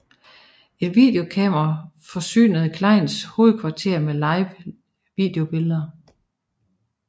Et videokamera forsynede Kleins hovedkvarter med live videobilleder